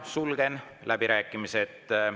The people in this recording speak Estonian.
Sulgen läbirääkimised.